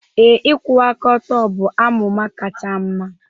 Ee, ịkwụwa aka ọtọ bụ amụma kacha mma